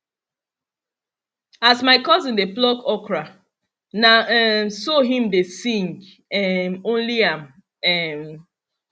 as my cousin dey pluck okra na um so him dey sing um only am um